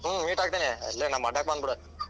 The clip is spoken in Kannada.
ಹ್ಮ್‌, meet ಆಗ್ತೀನಿ. ಇಲ್ಲೇ ನಮ್ಮ ಅಡ್ಡಾಕ್‌ ಬಂದಬೀಡ.